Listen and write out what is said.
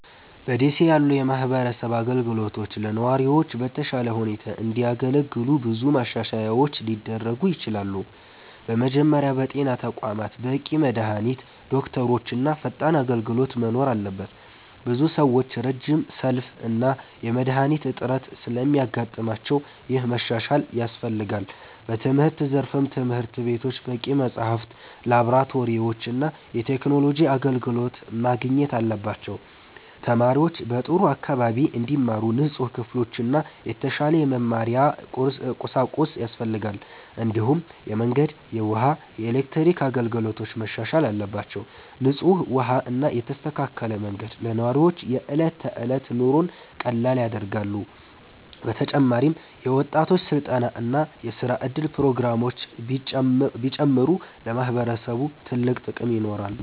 በ ደሴ ያሉ የማህበረሰብ አገልግሎቶች ለነዋሪዎች በተሻለ ሁኔታ እንዲያገለግሉ ብዙ ማሻሻያዎች ሊደረጉ ይችላሉ። በመጀመሪያ በጤና ተቋማት በቂ መድሃኒት፣ ዶክተሮች እና ፈጣን አገልግሎት መኖር አለበት። ብዙ ሰዎች ረጅም ሰልፍ እና የመድሃኒት እጥረት ስለሚያጋጥማቸው ይህ መሻሻል ያስፈልጋል። በትምህርት ዘርፍም ትምህርት ቤቶች በቂ መጽሐፍት፣ ላብራቶሪዎች እና የቴክኖሎጂ አገልግሎት ማግኘት አለባቸው። ተማሪዎች በጥሩ አካባቢ እንዲማሩ ንጹህ ክፍሎችና የተሻለ የመማሪያ ቁሳቁስ ያስፈልጋል። እንዲሁም የመንገድ፣ የውሃ እና የኤሌክትሪክ አገልግሎቶች መሻሻል አለባቸው። ንጹህ ውሃ እና የተስተካከለ መንገድ ለነዋሪዎች የዕለት ተዕለት ኑሮን ቀላል ያደርጋሉ። በተጨማሪም የወጣቶች ስልጠና እና የስራ እድል ፕሮግራሞች ቢጨምሩ ለማህበረሰቡ ትልቅ ጥቅም ይኖራል።